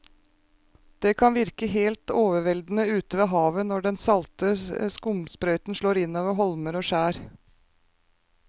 Det kan virke helt overveldende ute ved havet når den salte skumsprøyten slår innover holmer og skjær.